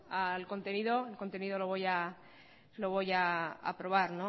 al contenido el contenido lo voy a aprobar